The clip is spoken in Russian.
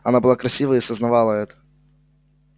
она была красива и сознавала это